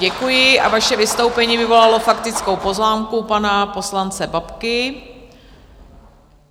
Děkuji a vaše vystoupení vyvolalo faktickou poznámku pana poslance Babky.